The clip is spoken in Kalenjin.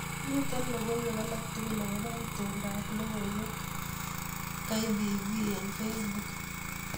Miten logoiwek alatugul akobo itondoab logoiwekab K.B.V eng facebuk